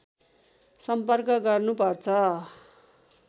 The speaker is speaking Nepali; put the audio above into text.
सम्पर्क गर्नुपर्छ